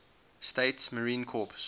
states marine corps